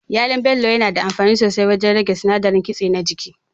Yalon Bello yana da amfani sosai wajen rage sinadarin kitse na jiki.